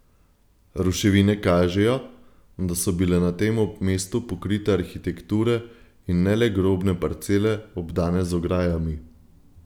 Ruševine kažejo, da so bile na tem mestu pokrite arhitekture in ne le grobne parcele, obdane z ograjami.